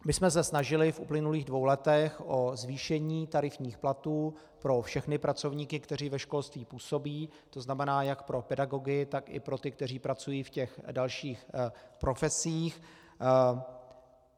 My jsme se snažili v uplynulých dvou letech o zvýšení tarifních platů pro všechny pracovníky, kteří ve školství působí, to znamená jak pro pedagogy, tak i pro ty, kteří pracují v těch dalších profesích.